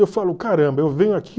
Eu falo, caramba, eu venho